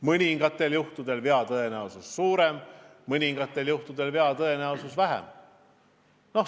Mõningatel juhtudel on vea tõenäosus suurem, mõningatel juhtudel on vea tõenäosus väiksem.